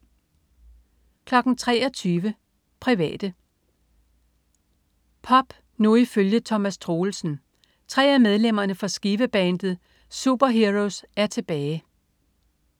23.00 Private. Pop nu ifølge Thomas Troelsen. Tre af medlemmerne fra Skive-bandet Superheroes er tilbage